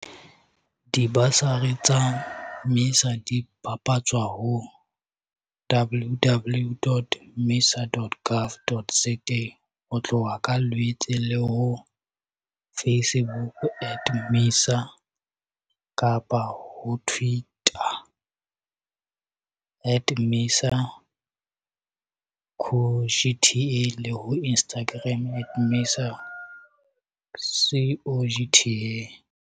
Dibasari tsa MISA di bapatswa ho www.misa.gov.za ho tloha ka Lwetse, le ho Facebook at MISA, ho Twitter at MISA CoGTA le ho Instagram at MISA CoGTA.